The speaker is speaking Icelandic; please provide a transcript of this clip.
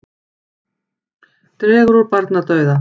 Dregur úr barnadauða